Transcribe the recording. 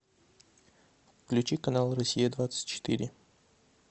включи канал россия двадцать четыре